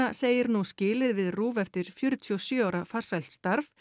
segir nú skilið við RÚV eftir fjörutíu og sjö ára farsælt starf